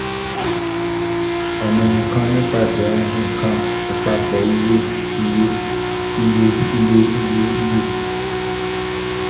ọna nkan-nipasẹ-ohun kan um apapọ iye iye iye iye iye iye